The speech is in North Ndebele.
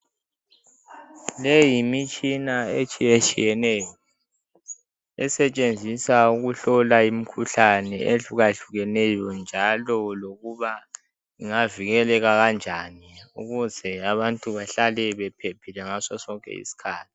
Le yimitshina etshiyetshiyeneyo, esetshenziswa ukuhlola imkhuhlane ehlukahlukeneyo njalo lokuba ingavikeleka kanjani ukuze abantu behlale bephephile ngaso sonke isikhathi.